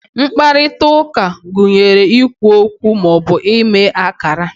mkparịta ụka gụnyere ikwu okwu ma ọ bụ ime akara